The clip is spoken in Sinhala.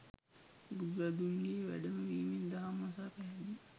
බුදුරදුන්ගේ වැඩම වීමෙන් දහම් අසා පැහැදී